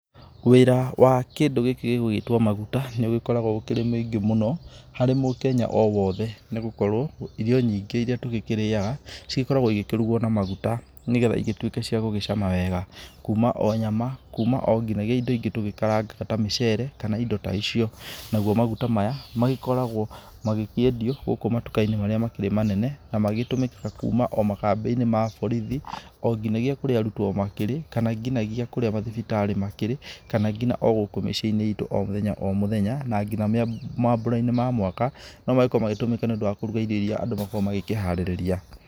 Wĩra wa kĩndũ gĩkĩ gĩgũĩtwo maguta nĩ ũgĩkoragũo ũkĩrĩ mũingĩ mũno, harĩ mũkenya o wothe nĩ gũkorũo irio nyingĩ iria tũgĩkĩrĩaga cigĩ koragũo igĩkĩrugũo na maguta nĩgetha igĩtuĩke cia gũgĩcama wega. Kuuma o nyama, kuuma onginagia indo ingĩ tũgĩkarangaga, ta mĩcere kana indo ta icio. Namo maguta maya magĩkoragũo magĩkĩendio gũkũ matuka-inĩ marĩa makĩrĩ manene na magĩgĩtũmĩkaga kuuma o, makambĩ-inĩ ma borithi, nginagia kũrĩa arutwo makĩrĩ, kana nginagia kũrĩa mathibitarĩ makĩrĩ, kana ngina o gũkũ mĩciĩ-inĩ itũ o mũthenya o mũthenya, na nginagia maambura-inĩ ma o mwaka no magĩkoragũo magĩtũmĩka nĩ ũndũ wa irio iria andũ magĩkoragũo makĩharĩrĩria.